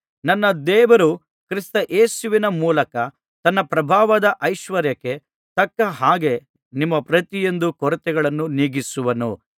ನನ್ನ ದೇವರು ಕ್ರಿಸ್ತ ಯೇಸುವಿನ ಮೂಲಕ ತನ್ನ ಪ್ರಭಾವದ ಐಶ್ವರ್ಯಕ್ಕೆ ತಕ್ಕ ಹಾಗೆ ನಿಮ್ಮ ಪ್ರತಿಯೊಂದು ಕೊರತೆಗಳನ್ನೂ ನೀಗಿಸುವನು